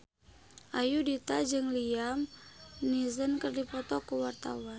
Ayudhita jeung Liam Neeson keur dipoto ku wartawan